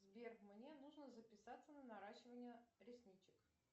сбер мне нужно записаться на наращивание ресничек